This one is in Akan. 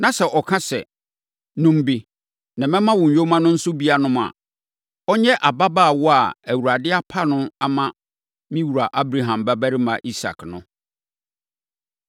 na sɛ ɔka sɛ, “Nom bi, na mɛma wo nyoma no nso bi anom” a, ɔnyɛ ababaawa a Awurade apa no ama me wura Abraham babarima Isak no.’